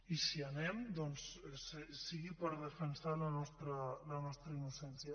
i si hi anem doncs sigui per defensar la nostra innocència